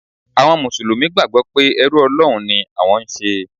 Àwọn Mùsùlùmí gbàgbọ́ pé ẹrú Ọlọ́run ni àwọn ń ṣe.